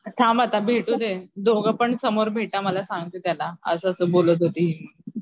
थांब आता भेटूदे दोघेपण समोर भेट मला सांगते त्याला असं असं बोलत होती हि.